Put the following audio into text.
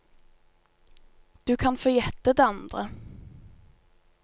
Du kan få gjette det andre.